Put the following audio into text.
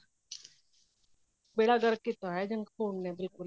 ਬੇੜਾ ਗਰਕ ਕੀਤਾ ਹੋਇਆ junk food ਨੇ ਬਿਲਕੁੱਲ ਹੀ